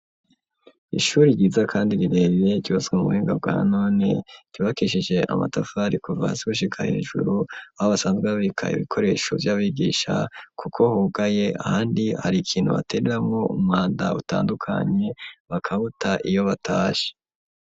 Ishuri ryiza kandi rirerire, ryubatswe mu buhinga bwa none, ryubakishije amatafari kuva hasi gushika hejuru; aho basanzwe babika ibikoresho vy'abigisha, kuko hugaye ahandi hari ikintu batereramwo umwanda utandukanye, bakawuta iyo batashe.